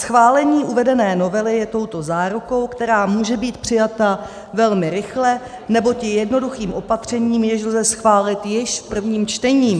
Schválení uvedené novely je touto zárukou, která může být přijata velmi rychle, neboť je jednoduchým opatřením, jež lze schválit již v prvním čtení.